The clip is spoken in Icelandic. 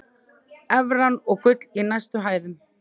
Evran og gull í hæstu hæðum